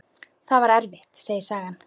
Það var erfitt, segir sagan.